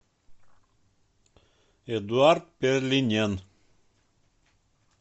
эдуард перлинен